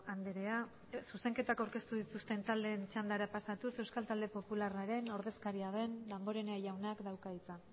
andrea zuzenketak aurkeztu taldeen txandara pasatuz euskal talde popularraren ordezkaria den damborenea jaunak dauka hitza